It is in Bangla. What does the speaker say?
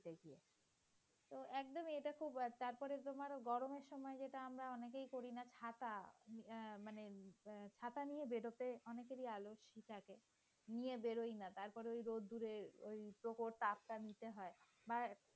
তারপরে তোমার গরমের সময় আমরা এটা অনেকেই যেমন করি ছাতা ইয়ে মানে ছাতা নিয়ে বের হতে অনেকেরই আলস্য থাকে। ছাতা নিয়ে বের হই না তারপরে ঐ রোদ্দুরে প্রখর তাপটা নিতে হয় বা